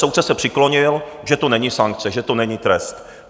Soudce se přiklonil, že to není sankce, že to není trest.